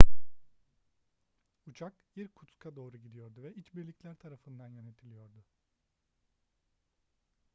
uçak i̇rkutsk'a doğru gidiyordu ve iç birlikler tarafından yönetiliyordu